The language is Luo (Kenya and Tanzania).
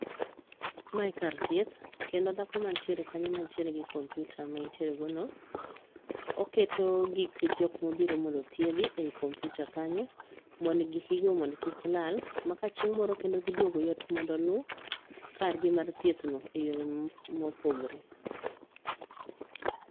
Mae kar thieth, kendo dhako mantiere kanyo mantiere gi kompyuta maentiere go no, oketo gik jo mobiro mondo othiedhi ei kompyuta kanyo mond gikgi go mond kik lal ma ka chieng' moro kendo giduogo yot mondo oluw kar gi mar thieth no e yore mopogore.